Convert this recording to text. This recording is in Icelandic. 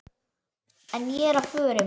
En ég er á förum.